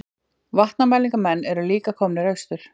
Vatnamælingamenn eru líka komnir austur